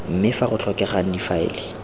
mme fa go tlhokegang difaele